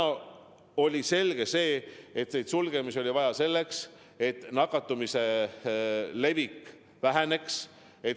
Ja on selge, et sulgemisi oli vaja selleks, et nakatumise levik väheneks.